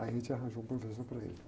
Aí a gente arranjou um professor para ele.